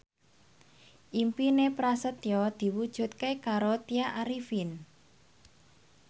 impine Prasetyo diwujudke karo Tya Arifin